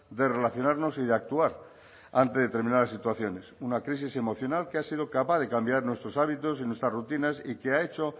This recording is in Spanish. de relacionarnos y de actuar ante determinadas situaciones una crisis emocional que ha sido capaz de cambiar nuestros hábitos y nuestras rutinas y que ha hecho